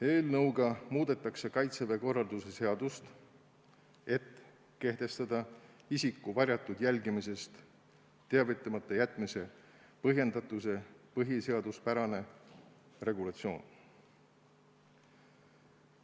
Eelnõuga muudetakse Kaitseväe korralduse seadust, et kehtestada isiku varjatud jälgimisest teavitamata jätmise põhjendatuse põhiseaduspärane regulatsioon.